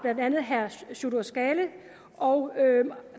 herre sjurdur skaale og